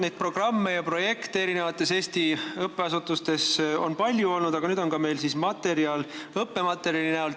Neid programme ja projekte on Eesti õppeasutustes loomulikult palju olnud, aga nüüd on meil siis võimalik ka õppematerjal näiteks tuua.